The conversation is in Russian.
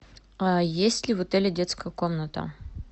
а есть ли в отеле детская комната